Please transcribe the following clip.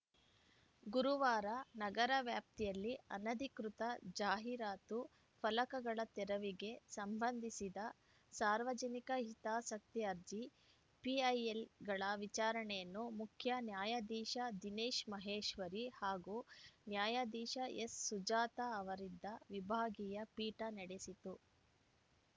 ಗುರುವಾರ ನಗರ ವ್ಯಾಪ್ತಿಯಲ್ಲಿ ಅನಧಿಕೃತ ಜಾಹೀರಾತು ಫಲಕಗಳ ತೆರವಿಗೆ ಸಂಬಂಧಿಸಿದ ಸಾರ್ವಜನಿಕ ಹಿತಾಸಕ್ತಿ ಅರ್ಜಿ ಪಿಐಎಲ್‌ಗಳ ವಿಚಾರಣೆಯನ್ನು ಮುಖ್ಯ ನ್ಯಾಯಾಧೀಶ ದಿನೇಶ್‌ ಮಹೇಶ್ವರಿ ಹಾಗೂ ನ್ಯಾಯಾಧೀಶ ಎಸ್‌ಸುಜಾತಾ ಅವರಿದ್ದ ವಿಭಾಗೀಯ ಪೀಠ ನಡೆಸಿತು